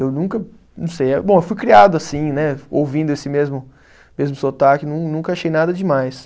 Eu nunca, não sei eh, bom, eu fui criado assim, né, ouvindo esse mesmo, mesmo sotaque, nunca achei nada demais.